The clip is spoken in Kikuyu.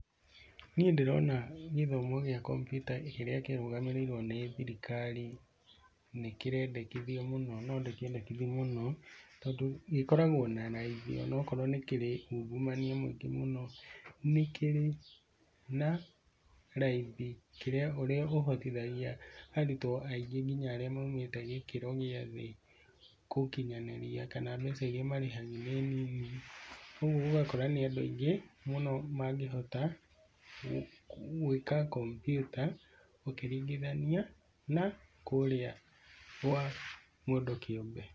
Niĩ ndĩrona gĩthomo gĩa kompiuta kĩrĩa kĩrũgamĩrĩirwo nĩ thirikari, nĩ kirendekithia mũno, no ndĩkĩendekithie mũno, tondũ gĩkoragwo na raithi ona okorwo nĩ kĩrĩ ungumania mũingĩ mũno. Nĩ kĩrĩ na raithi ũrĩa ũhotithagia arutwo aingĩ nginya arĩa maumite gĩkĩro gĩa thĩ gukinyanĩria, kana mbeca iria marĩhagagia nĩ nini. Ũguo ũgakora nĩ andũ aingĩ mũno mangĩhota gwĩka kompiuta ũkiringithania na kũrĩa kwa mũndũ kĩũmbe.